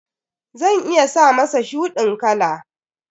Zan iya sa masa shuɗin kala.